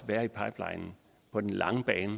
være i pipelinen på den lange bane